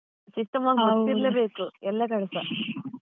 ಗೊತ್ತಿರ್ಲೆ ಬೇಕು ಎಲ್ಲ ಕಡೆಸಾ.